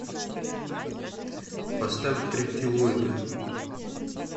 поставь триптилоида